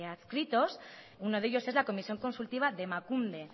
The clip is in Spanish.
adscritos uno de ellos es la comisión consultiva de emakunde